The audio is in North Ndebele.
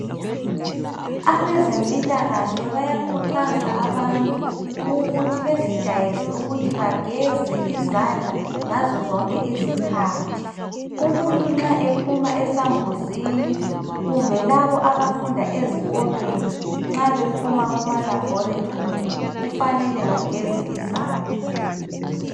Abezempilakahle bayakhuthaza abantu ukuthi bezijayeze ukuthi bageze izandla ngazo zonke izikhathi. Umuntu nxa ephuma esambuzini, kumbe labo abafunda ezikolweni nxa bephuma kuma labhorethori, kufanele bageze izandla.